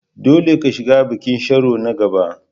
Dole ka shiga bikin Sharo na gaba!